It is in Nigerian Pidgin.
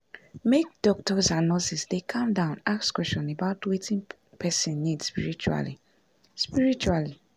make doctors and nurses dey calm down ask question about wetin person need spiritually spiritually